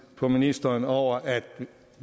på ministeren over at